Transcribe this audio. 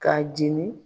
K'a jini